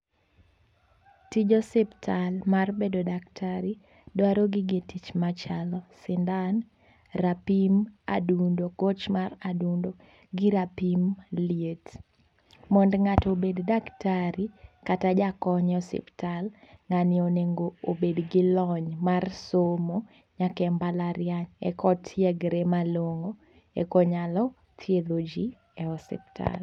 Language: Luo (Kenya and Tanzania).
Tij osiptal mar bedo daktari dwaro gige tich machalo sindan rapim mar adundo gwech mar adundo gi rapim liet mondo ng'ato obed daktari kata jakony e ospital, ng'ani onego bed gi lony mar somo nyake mbalariany ekotiegre malong'o ekonyalo thiedho jii e osiptal.